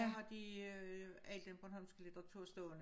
Der har de øh alt den bornholsmek litteratur stående